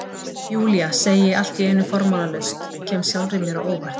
Júlía, segi ég allt í einu formálalaust, kem sjálfri mér á óvart.